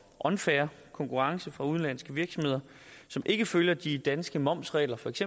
unfair konkurrence fra udenlandske virksomheder som ikke følger de danske momsregler feks